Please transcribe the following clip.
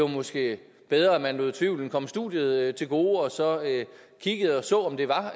måske var bedre at man lod tvivlen komme studiet til gode og så kiggede og så om det var